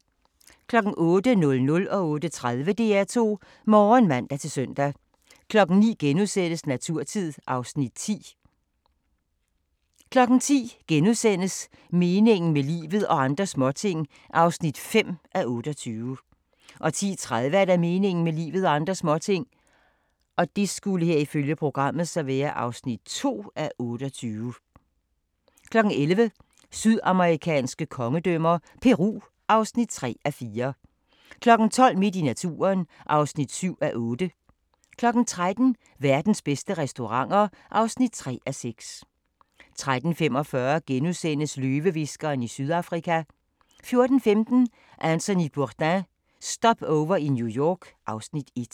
08:00: DR2 Morgen (man-søn) 08:30: DR2 Morgen (man-søn) 09:00: Naturtid (Afs. 10)* 10:00: Meningen med livet – og andre småting (5:28)* 10:30: Meningen med livet – og andre småting (2:28) 11:00: Sydamerikanske kongedømmer – Peru (3:4) 12:00: Midt i naturen (7:8) 13:00: Verdens bedste restauranter (3:6) 13:45: Løvehviskeren i Sydafrika * 14:15: Anthony Bourdain – Stopover i New York (Afs. 1)